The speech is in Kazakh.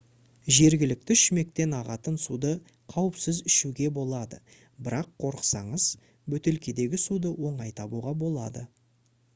жергілікті шүмектен ағатын суды қауіпсіз ішуге болады бірақ қорықсаңыз бөтелкедегі суды оңай табуға болады